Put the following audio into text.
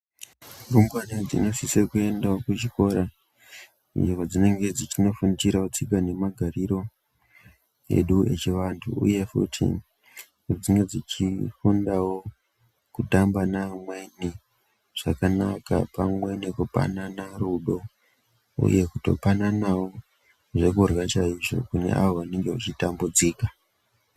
Rumbwana dzino sisawo kuendawo ku chikora uye padzinenge dzichino fundira tsika nema gariro edu echi vantu uye futi dzinge dzichi fundawo kutamba ne amweni zvakanaka pamwe neku panana rudo uye kuto pananawo zvekurya chaizvo kune avo vanenge vachi tambudzika.